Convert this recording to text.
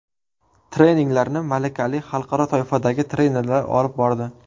Treninglarni malakali, xalqaro toifadagi trenerlar olib bordi.